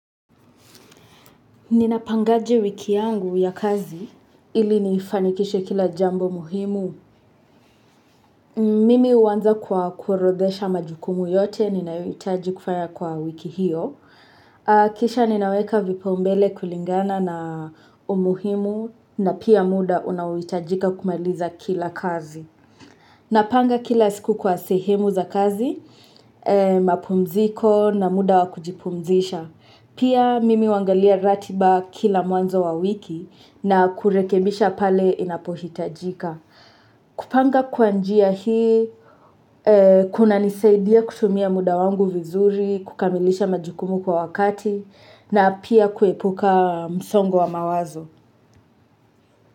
Ninapangaje wiki yangu ya kazi ili niifanikishe kila jambo muhimu. Mimi huanza kwa kuorodhesha majukumu yote, ninayohitaji kufanya kwa wiki hiyo. Kisha ninaweka vipaumbele kulingana na umuhimu na pia muda unaohitajika kumaliza kila kazi. Napanga kila siku kwa sehemu za kazi, mapumziko na muda wa kujipumzisha. Pia mimi huangalia ratiba kila mwanzo wa wiki na kurekebisha pale inapohitajika kupanga kwa njia hii, kunanisaidia kutumia muda wangu vizuri, kukamilisha majukumu kwa wakati, na pia kuepuka msongo wa mawazo.